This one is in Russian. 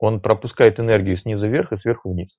он пропускает энергию снизу вверх и сверху вниз